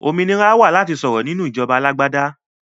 Òmìnira láti sọ̀rọ̀ máa wà nínú ìjọba alágbàdá